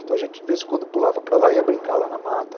Então, a gente, de vez em quando, pulava para lá e ia brincar lá na mata.